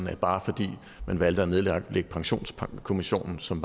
at bare fordi man valgte at nedlægge pensionskommissionen som